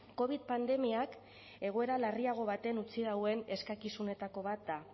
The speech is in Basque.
covid pandemiak egoera larriago batean utzi dauen eskakizunetako bat da